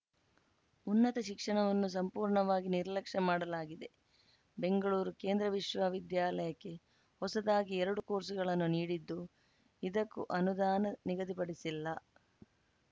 ಉನ್ನತ ಶಿಕ್ಷಣವನ್ನು ಸಂಪೂರ್ಣವಾಗಿ ನಿರ್ಲಕ್ಷ್ಯ ಮಾಡಲಾಗಿದೆ ಬೆಂಗಳೂರು ಕೇಂದ್ರ ವಿಶ್ವವಿದ್ಯಾಲಯಕ್ಕೆ ಹೊಸದಾಗಿ ಎರಡು ಕೋರ್ಸ್‌ಗಳನ್ನು ನೀಡಿದ್ದು ಇದಕ್ಕೂ ಅನುದಾನ ನಿಗದಿಪಡಿಸಿಲ್ಲ